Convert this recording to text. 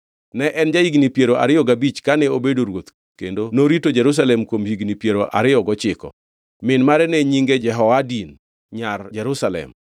Ne en ja-higni piero ariyo gabich kane obedo ruoth kendo norito Jerusalem kuom higni piero ariyo gochiko. Min mare ne nyinge Jehoadin, nyar Jerusalem.